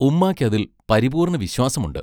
ഉമ്മായ്ക്കതിൽ പരിപൂർണവിശ്വാസമുണ്ട്.